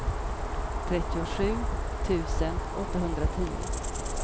trettiosju tusen tvåhundratio